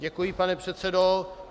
Děkuji, pane předsedo.